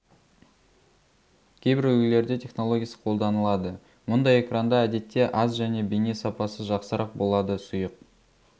кейбір үлгілерде технологиясы қолданылады мұндай экранда әдетте аз және бейне сапасы жақсырақ болады сұйық